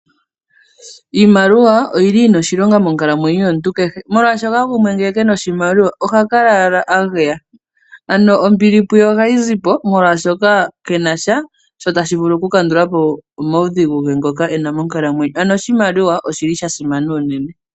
Iimaliwa oyi na oshilonga monkalamwenyo yomuntu kehe, molwaashoka gumwe ngele kena oshimaliwa oha kala owala a geya ano ombili puye ohayi zi po molwaashoka kenasha shoka tashi vulu okukandula po omaudhigu ge ngoka e na monkalamwenyo ano oshimaliwa osha simana unene.